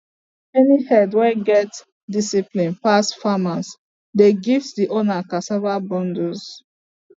any herd wey get discipline pass farmers dey gift the owner cassava bundles